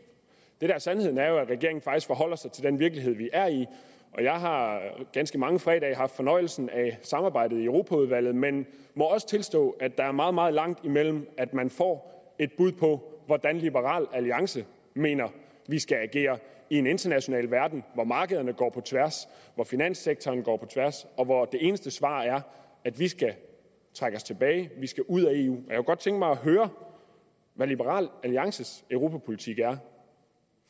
der er sandheden er jo at regeringen faktisk forholder sig til den virkelighed vi er i jeg har ganske mange fredage haft fornøjelsen af samarbejdet i europaudvalget men må også tilstå at der er meget meget langt imellem at man får et bud på hvordan liberal alliance mener vi skal agere i en international verden hvor markederne går på tværs hvor finanssektoren går på tværs og hvor det eneste svar er at vi skal trække os tilbage vi skal ud af eu jeg kunne godt tænke mig at høre hvad liberal alliances europapolitik er